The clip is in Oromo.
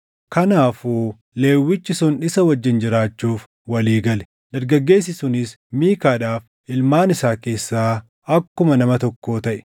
Kanaafuu Lewwichi sun isa wajjin jiraachuuf walii gale; dargaggeessi sunis Miikaadhaaf ilmaan isaa keessaa akkuma nama tokkoo taʼe.